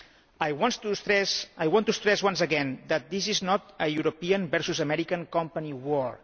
I want to stress once again that this is not a European versus American company war.